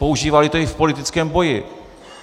Používali to i v politickém boji.